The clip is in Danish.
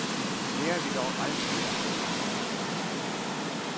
Lærer vi dog aldrig af fortiden?